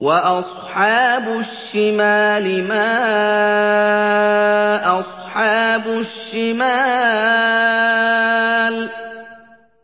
وَأَصْحَابُ الشِّمَالِ مَا أَصْحَابُ الشِّمَالِ